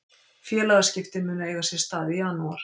Félagaskiptin munu eiga sér stað í janúar.